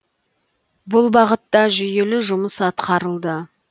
бұл бағытта жүйелі жұмыс атқарылды